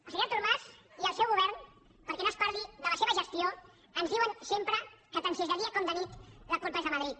el senyor artur mas i el seu govern perquè no es parli de la seva gestió ens diuen sempre que tant si és de dia com de nit la culpa és de madrid